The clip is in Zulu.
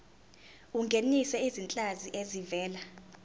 ungenise izinhlanzi ezivela